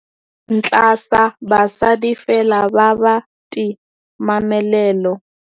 ntlha sa basadi fela ba batimamelelo